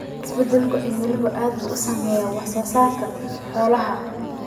Isbeddelka cimiladu aad buu u saameeyaa wax soo saarka xoolaha.